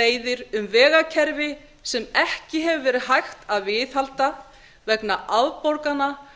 leiðir um vegakerfi sem ekki hefur verið hægt að viðhalda vegna afborgana af